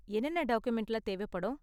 என்னென்ன டாக்குமென்ட்லாம் தேவைப்படும்?